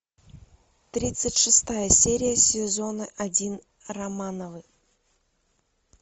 тридцать шестая серия сезона один романовы